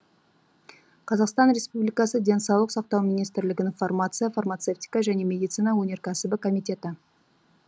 қазақстан республикасы денсаулық сақтау министрлігінің фармация фармацевтика және медицина өнеркәсібі комитеті